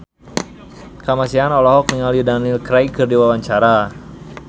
Kamasean olohok ningali Daniel Craig keur diwawancara